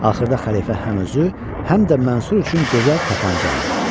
Axırda xəlifə həm özü, həm də Mansur üçün gözəl tapança aldı.